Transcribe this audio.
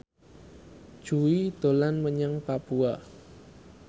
Jui dolan menyang Papua